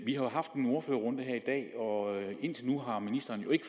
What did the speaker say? vi har haft en ordførerrunde her i dag og indtil nu har ministeren jo ikke